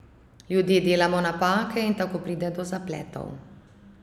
Ljudje delamo napake in tako pride do zapletov.